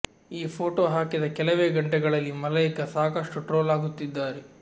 ಈ ಫೋಟೋ ಹಾಕಿದ ಕೆಲವೇ ಗಂಟೆಗಳಲ್ಲಿ ಮಲೈಕಾ ಸಾಕಷ್ಟು ಟ್ರೋಲ್ ಆಗುತ್ತಿದ್ದಾರೆ